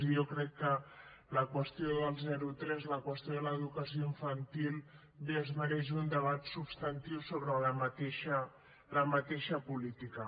i jo crec que la qüestió del zero tres la qüestió de l’educació infantil bé es mereix un debat substantiu sobre la mateixa política